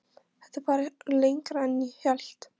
Þetta var lengra en hann hélt.